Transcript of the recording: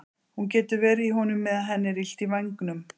Hún getur verið í honum meðan henni er illt í vængnum.